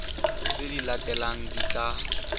tse di latelang di tla